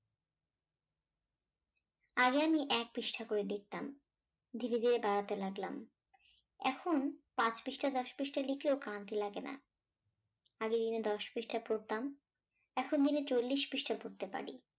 আগে আমি এক পৃষ্ঠা করে লিখতাম ধীরে ধীরে বাড়াতে লাগলাম এখন পাঁচ পৃষ্ঠা দশ পৃষ্ঠা লিখলেও ক্লান্তি লাগেনা আগে দিনে দশ পৃষ্ঠা পড়তাম এখন দিনে চল্লিশ পৃষ্ঠা পড়তে পারি।